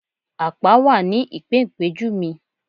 Àpá wà ní ìpéǹpéju mi